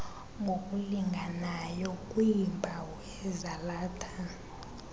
ngokulinganayo kwiimpawu ezalatha